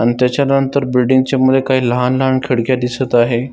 आणि त्याच्या नंतर बिल्डिंगच्या मध्ये काही लहान लहान खिडक्या दिसत आहे.